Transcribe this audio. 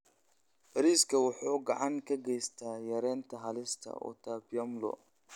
Bariiska wuxuu gacan ka geystaa yareynta halista utapiamlo.